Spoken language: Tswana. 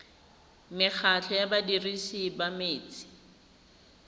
mekgatlho ya badirisi ba metsi